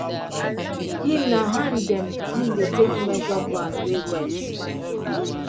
him na hand dem him take dey measure ground wey wet